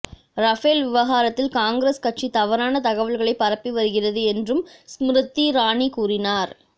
Rafale விவகாரத்தில் காங்கிரஸ் கட்சி தவறான தகவல்களை பரப்பி வருகிறது என்றும் ஸ்மிருதி இரானி கூறினார்